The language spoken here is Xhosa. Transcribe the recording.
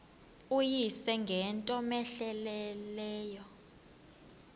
uyise ngento cmehleleyo